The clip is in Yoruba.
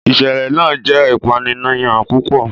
ìsẹ̀lẹ̀ náà jẹ́ ìpànìyàn púpọ̀.